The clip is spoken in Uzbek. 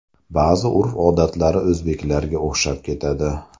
Ba’zi urf-odatlari o‘zbeklarga o‘xshab ketadi.